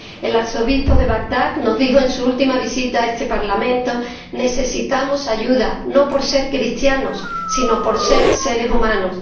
El arzobispo de Bagdad nos dijo en su última visita a este Parlamento Necesitamos ayuda no por ser cristianos, sino por ser seres humanos.